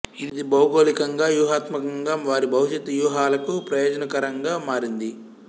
ఇది భౌగోళికంగా వ్యూహాత్మకంగా వారి భవిష్యత్తు వ్యూహాలకు ప్రయోజనకరంగా మారింది